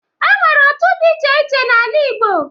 E nwere otu dị iche iche n'ala Igbo.